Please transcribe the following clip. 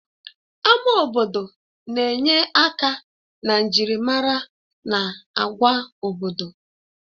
Ama obodo na-enye aka na njirimara na agwa obodo.